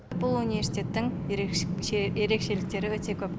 бұл университеттің ерекшеліктері өте көп